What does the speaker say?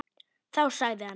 Þá sagði hann.